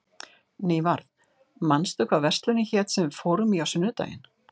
Nývarð, manstu hvað verslunin hét sem við fórum í á sunnudaginn?